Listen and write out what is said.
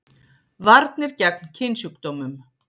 Varnir gegn kynsjúkdómum